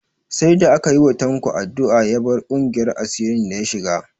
Sai da aka yi wa Tanko addu'a ya bar ƙungiyar asirin da ya shiga